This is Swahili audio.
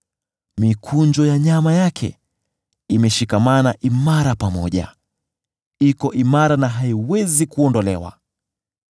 Mikunjo ya nyama yake imeshikamana imara pamoja; iko imara na haiwezi kuondolewa.